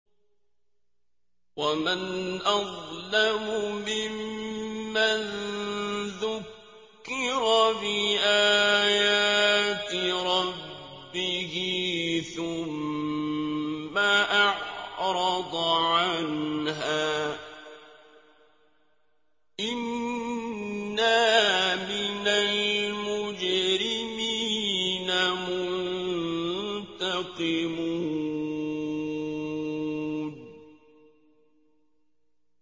وَمَنْ أَظْلَمُ مِمَّن ذُكِّرَ بِآيَاتِ رَبِّهِ ثُمَّ أَعْرَضَ عَنْهَا ۚ إِنَّا مِنَ الْمُجْرِمِينَ مُنتَقِمُونَ